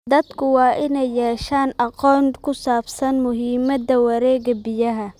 Dadku waa inay yeeshaan aqoon ku saabsan muhiimada wareegga biyaha.